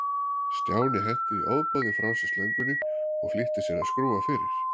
Stjáni henti í ofboði frá sér slöngunni og flýtti sér að skrúfa fyrir.